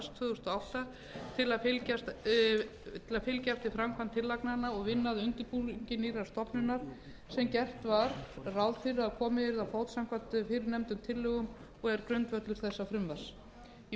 tvö þúsund og átta til að fylgja eftir framkvæmd tillagnanna og vinna að undirbúningi nýrrar stofnunar sem gert var ráð fyrir að komið yrði á fót samkvæmt fyrrnefndum tillögum og er grundvöllur þessa frumvarps í